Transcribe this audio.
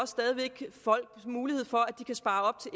stadig væk folk mulighed for at de kan spare op til